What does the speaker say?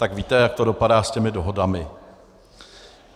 Tak víte, jak to dopadá s těmi dohodami.